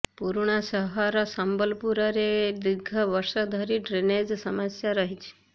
ପୁରୁଣା ସହର ସମ୍ବଲପୁରରେ ଦୀର୍ଘ ବର୍ଷ ହେଲା ଡ୍ରେନେଜ ସମସ୍ୟା ରହିଛି